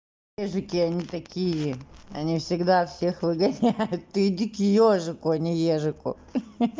ёжики они такие они всегда всех выгоняют ты иди к ёжику а не ёжику хи-хи